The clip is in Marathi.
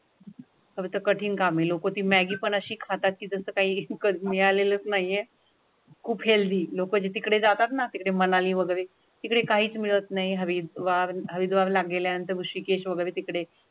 कठीण कामे लोक ती मॅगी अशी खाती तसेच काही कळालेलं नाहीये खूप हेल्दी लोकांचे तिकडे जातात ना. तिथे मनाली वगैरे तिकडे काहीच मिळत नाही हवीवावे लागेल. यानंतर ऋषीकेश वगैरे तिकडे.